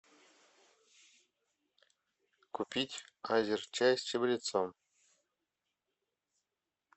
купить азерчай с чабрецом